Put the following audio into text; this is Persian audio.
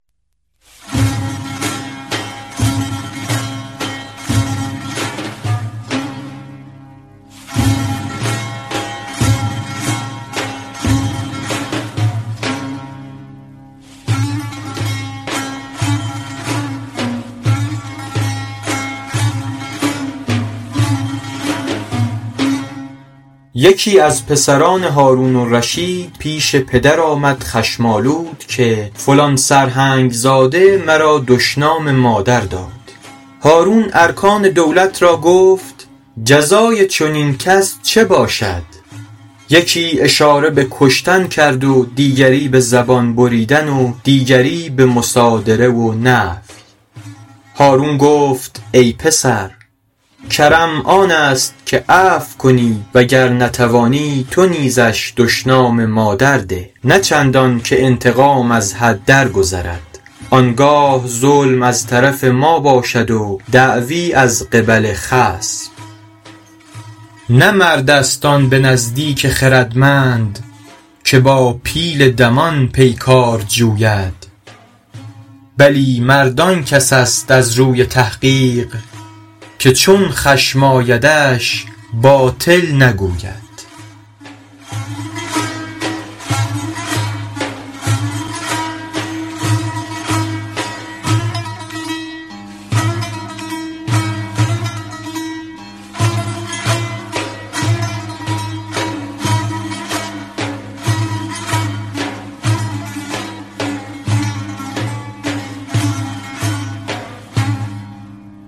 یکی از پسران هارون الرشید پیش پدر آمد خشم آلود که فلان سرهنگ زاده مرا دشنام مادر داد هارون ارکان دولت را گفت جزای چنین کس چه باشد یکی اشاره به کشتن کرد و دیگری به زبان بریدن و دیگری به مصادره و نفی هارون گفت ای پسر کرم آن است که عفو کنی و گر نتوانی تو نیزش دشنام مادر ده نه چندان که انتقام از حد درگذرد آن گاه ظلم از طرف ما باشد و دعوی از قبل خصم نه مرد است آن به نزدیک خردمند که با پیل دمان پیکار جوید بلی مرد آن کس است از روی تحقیق که چون خشم آیدش باطل نگوید